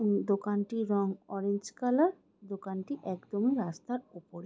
উমম দোকানটির রং orange colour. দোকানটি একদম রাস্তার ওপরে।